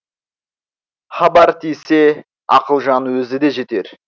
хабар тисе ақылжан өзі де жетер